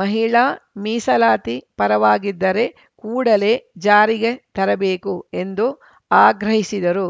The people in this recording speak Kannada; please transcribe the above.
ಮಹಿಳಾ ಮೀಸಲಾತಿ ಪರವಾಗಿದ್ದರೆ ಕೂಡಲೇ ಜಾರಿಗೆ ತರಬೇಕು ಎಂದು ಆಗ್ರಹಿಸಿದರು